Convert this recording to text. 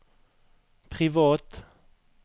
privat